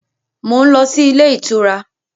Mo ń lọ sí ilé ìtura.